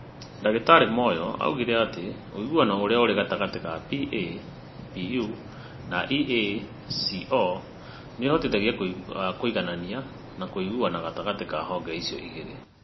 Ndagĩtarĩ Moyo oigire atĩ ũiguano ũrĩa ũrĩ gatagatĩ ka PAPU na EACO nĩ ũhotithagia kũiganania na kũiguana gatagatĩ ka honge icio igĩrĩ.